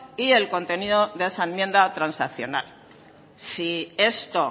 y el contenido de esa enmienda transaccional si esto